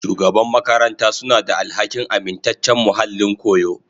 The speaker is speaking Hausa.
Shugaban makaranta suna da alhakin amintaccen muhallin koyo.